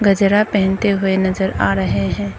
गजरा पहनते हुए नजर आ रहे हैं।